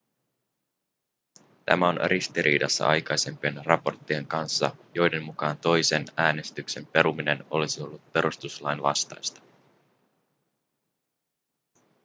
tämä on ristiriidassa aikaisempien raporttien kanssa joiden mukaan toisen äänestyksen peruminen olisi ollut perustuslain vastaista